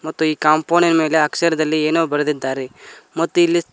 ಮತ್ತು ಈ ಕಾಂಪೌಂಡಿನ ಮೇಲೆ ಅಕ್ಷರದಲ್ಲಿ ಏನೋ ಬರೆದಿದ್ದಾರೆ ಮತ್ತು ಇಲ್ಲಿ --